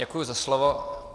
Děkuji za slovo.